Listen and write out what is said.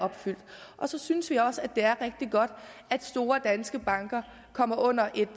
og så synes vi også at det er rigtig godt at store danske banker kommer under et